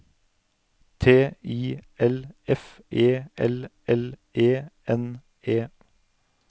T I L F E L L E N E